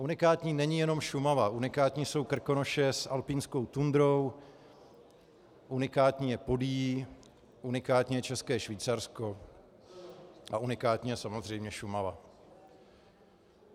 Unikátní není jenom Šumava, unikátní jsou Krkonoše s alpinskou tundrou, unikátní je Podyjí, unikátní je České Švýcarsko a unikátní je samozřejmě Šumava.